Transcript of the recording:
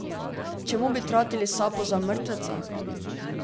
Čemu bi tratili sapo za mrtveca?